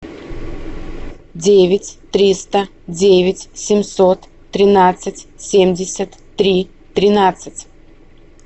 девять триста девять семьсот тринадцать семьдесят три тринадцать